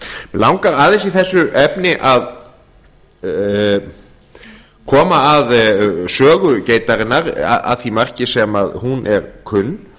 langar aðeins í þessu efni að koma að sögu geitarinnar að því marki sem hún er kunn